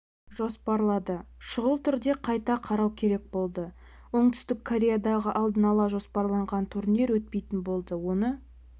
жоспарларды шұғыл түрде қайта қарау керек болды оңтүстік кореядағы алдын ала жоспарланған турнир өтпейтін болды оны